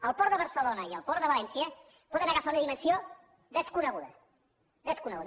el port de barcelona i el port de valència poden agafar una dimensió desconeguda desconeguda